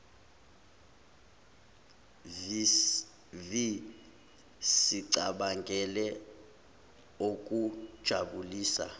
vi sicabangele okujabulisa